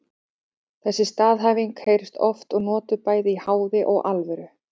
Þessi staðhæfing heyrist oft og notuð bæði í háði og alvöru.